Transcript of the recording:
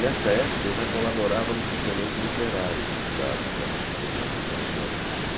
Nesta época, eu já colaborava no suplemento literário do Estado, que era um suplemento importante.